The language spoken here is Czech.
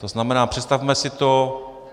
To znamená, představme si to.